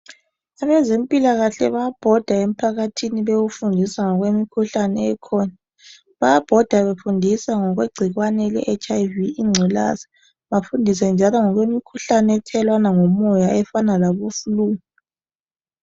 Abezempilakahle bayabhoda emphakathini bewufundisa ngokwemkhuhlane ekhona bayabhoda befundisa ngokwegcikwane le HIV ingculaza bafundise njalo ngokwemikhuhlane ethelelwana ngomoya efana labo flu.